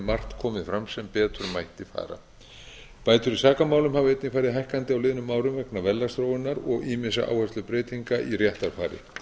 margt komið fram sem betur mætti fara bætur í sakamálum hafa einnig farið hækkandi á liðnum árum vegna verðlagsþróunar og ýmissa áherslubreytinga í réttarfari